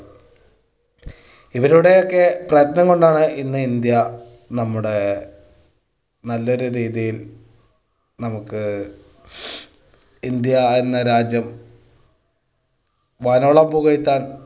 ഇവരുടെയൊക്കെ പ്രയത്നം കൊണ്ടാണ് ഇന്ന് ഇന്ത്യ നമ്മുടെ നല്ലൊരു രീതിയിൽ നമുക്ക് ഇന്ത്യ എന്ന രാജ്യം വാനോളം പുകഴ്ത്താൻ